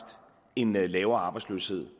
en lavere arbejdsløshed